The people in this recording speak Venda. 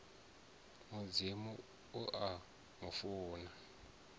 mudzimu u a mu funa